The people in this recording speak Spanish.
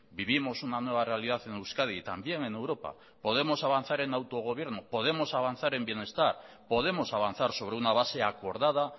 vivimos una nueva realidad en euskadi y también en europa podemos avanzar en autogobierno podemos avanzar en bienestar podemos avanzar sobre una base acordada